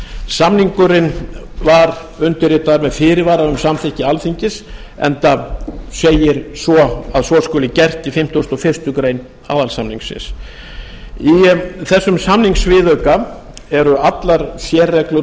samningurinn var undirritaður með fyrirvara um samþykki alþingis enda segir að svo skuli gert í fimmtugasta og fyrstu grein aðalsamningsins í þessum samningsviðauka eru allar sérreglur